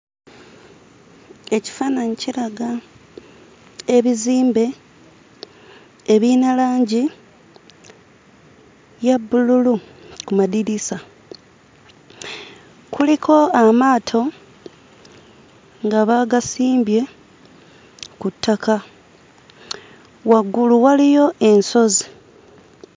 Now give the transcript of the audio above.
Ekifaananyi kiraga ebizimbe ebirina langi ya bbululu ku madirisa. Kuliko amaato nga baagasimbye ku ttaka. Waggulu waliyo ensozi.